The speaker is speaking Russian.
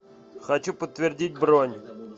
хочу подтвердить бронь